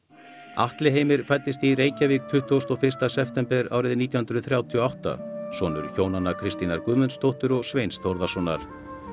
Atli Heimir fæddist í Reykjavík tuttugasta og fyrsta september árið nítján hundruð þrjátíu og átta sonur hjónanna Kristínar Guðmundsdóttur og Sveins Þórðarsonar